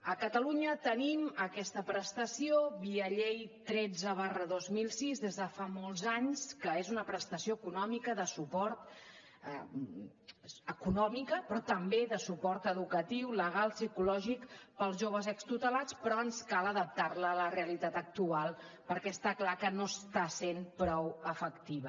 a catalunya tenim aquesta prestació via llei tretze dos mil sis des de fa molts anys que és una prestació econòmica però també de suport educatiu legal psicològic per als joves extutelats però ens cal adaptar la a la realitat actual perquè està clar que no està sent prou efectiva